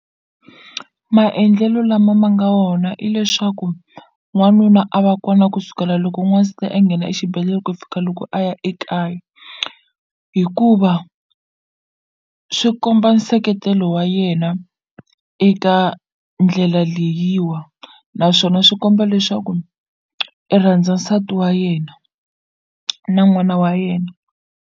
Maendlelo lama ma nga wona i leswaku n'wanuna a va kona kusukela loko a nghena exibedhlele ku fika loko a ya ekaya hikuva swi komba nseketelo wa yena eka ndlela leyiwa naswona swi komba leswaku i rhandza nsati wa yena na n'wana wa yena.